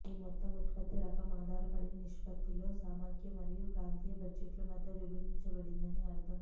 ఈ మొత్తం ఉత్పత్తి రకం ఆధారపడి నిష్పత్తిలో సమాఖ్య మరియు ప్రాంతీయ బడ్జెట్లు మధ్య విభజించబడింది అని అర్థం